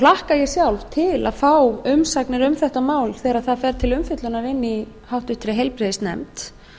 hlakka ég sjálf til að fá umsagnir um þetta mál þegar það fer til umfjöllunar inni í háttvirtri heilbrigðisnefnd